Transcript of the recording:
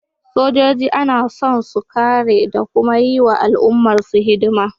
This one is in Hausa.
Sojoji ana son su kare da kuma yi wa al’ummarsu hidima